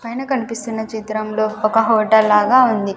పైన కన్పిస్తున్న చిత్రంలో ఒక హోటల్ లాగా ఉంది.